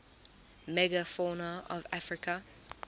megafauna of africa